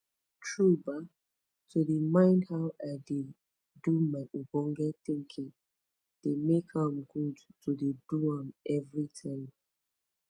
tru bah to dey mind how i de do my ogbonge tinkin de make am good to de do am every time